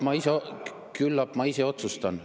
Küllap ma ise otsustan.